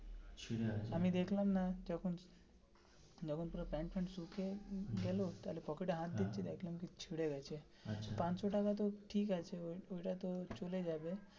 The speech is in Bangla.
আমি দেখলাম না যখন যখন পুরো প্যান্ট ফ্যান্ট শুকিয়ে গেলো তাহলে পকেটে হাত ঢুকিয়ে দেখলাম কি ছিড়ে গেছে পাশো টাকাটা ঠিক আছে ঐটা তো চলে যাবে,